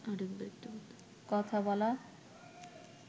কথা বলা